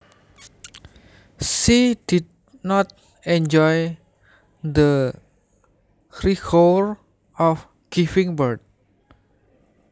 She did not enjoy the rigour of giving birth